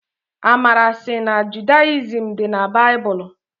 Amara sị na Judayizim dị na baịbụlụ.